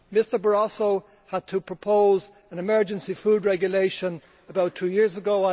Mr Barroso had to propose an emergency food regulation about two years ago.